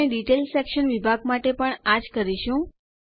આપણે detail section વિભાગ માટે પણ આ જ કરીશું